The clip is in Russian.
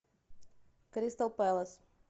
кристал пэлас